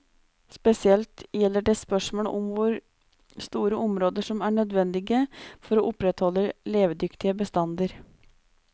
Spesielt gjelder det spørmål om hvor store områder som er nødvendige for å opprettholde levedyktige bestander.